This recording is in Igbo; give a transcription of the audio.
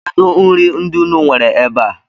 Kedụ nri ndị unu nwere ebe a?